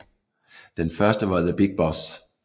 Den første var The Big Boss